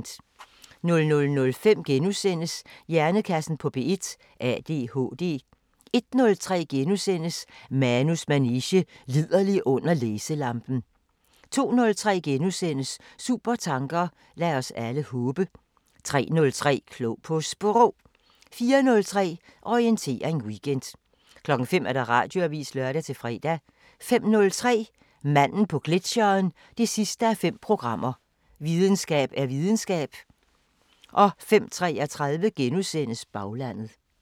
00:05: Hjernekassen på P1: ADHD * 01:03: Manus manege: Liderlig under læselampen * 02:03: Supertanker: Lad os alle håbe! * 03:03: Klog på Sprog 04:03: Orientering Weekend 05:00: Radioavisen (lør-fre) 05:03: Manden på gletsjeren 5:5 – Videnskab er videnskab 05:33: Baglandet *